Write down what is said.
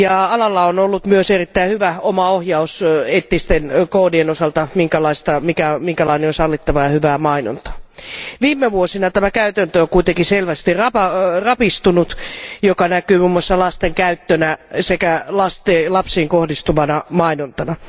Alalla on ollut myös erittäin hyvä omaohjaus sellaisten eettisten koodien osalta, joilla määritellään minkälainen on sallittavaa ja hyvää mainontaa. Viime vuosina tämä käytäntö on kuitenkin selvästi rapistunut, mikä näkyy muun muassa lasten käyttönä sekä lapsiin kohdistuvana mainontana.